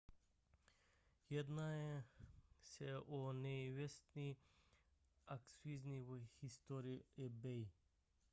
jedná se o největší akvizici v historii ebay